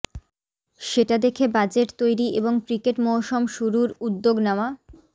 সেটা দেখে বাজেট তৈরি এবং ক্রিকেট মৌসুম শুরুর উদ্যোগ নেওয়া